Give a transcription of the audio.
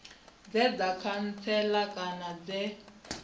dze dza khantsela kana dze